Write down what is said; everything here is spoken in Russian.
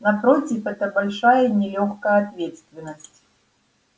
напротив это большая и нелёгкая ответственность